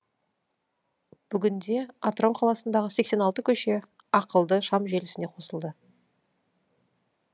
бүгінде атырау қаласындағы сексен алты көше ақылды шам желісіне қосылды